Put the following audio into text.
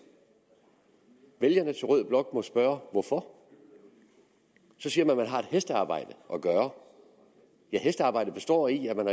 vælgerne til rød blok må spørge hvorfor så siger man at man har et hestearbejde at gøre ja hestearbejdet består i at man